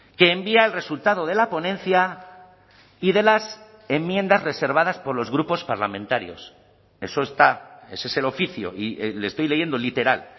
que envía el resultado de la ponencia y de las enmiendas reservadas por los grupos parlamentarios eso está ese es el oficio y le estoy leyendo literal